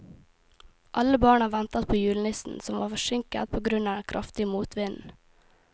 Alle barna ventet på julenissen, som var forsinket på grunn av den kraftige motvinden.